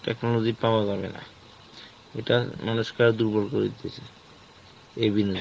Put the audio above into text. technology পাওয়া যাবে না, এইটা মানুষকে আরো দুর্বল করে দিতেছে